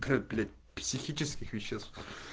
блять психических веществ